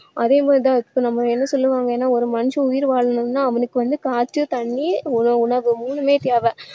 அதே மாதிரி தான் இப்ப நம்ம என்ன சொல்லுவாங்கன்னா ஒரு மனுஷன் உயிர் வாழணும்னா அவனுக்கு வந்து காற்று, தண்ணீர், உண~உணவு மூணுமே தேவை